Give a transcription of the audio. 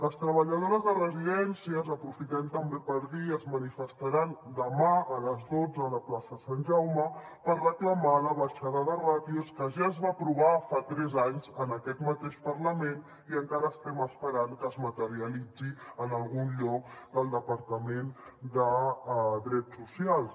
les treballadores de residències aprofitem també per dir es manifestaran demà a les dotze a la plaça sant jaume per reclamar la baixada de ràtios que ja es va aprovar fa tres anys en aquest mateix parlament i encara estem esperant que es materialitzi en algun lloc del departament de drets socials